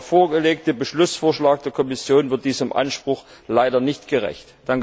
Der vorgelegte Beschlussvorschlag der Kommission wird diesem Anspruch leider nicht gerecht.